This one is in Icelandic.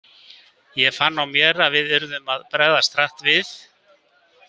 Ég fann á mér að við yrðum að bregðast hratt við.